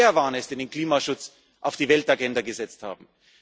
wird. Wir Europäer waren es, die den Klimaschutz auf die Weltagenda gesetzt